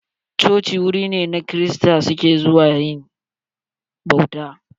Coci wuri ne da kirista suke zuwa yin bauta.